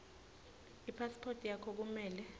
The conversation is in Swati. ipasiphothi yakho kumele